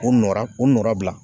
O nɔrɔ o nɔɔrɔ bila.